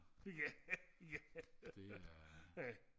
ja ja ja